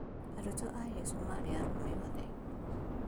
Arutwo a Jesũ marĩ arũme othe